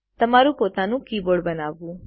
તમારું પોતાનું કીબોર્ડ બનાવવું